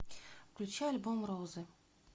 включи альбом розы